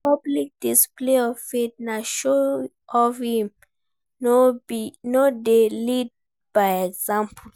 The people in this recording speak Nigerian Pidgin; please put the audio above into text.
Public display of faith na show off if im no de lead by example